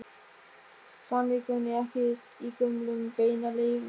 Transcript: Sannleikurinn er ekki í gömlum beinaleifum.